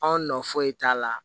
Anw nɔ foyi t'a la